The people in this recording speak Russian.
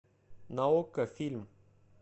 на окко фильм